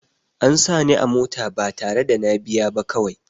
A sa ni a mota ba tare da na biya ba kawai